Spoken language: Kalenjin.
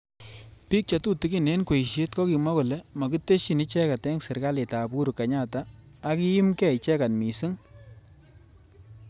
Bik chetutikin eng kweishet kokimwa kole makiteshi icheket eng serekalit ab Uhuru kenyatta ak kiimgei icheget missing.